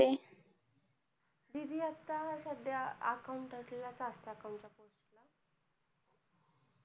दीदी आता सध्या account ला account